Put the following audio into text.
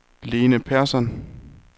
Lene Persson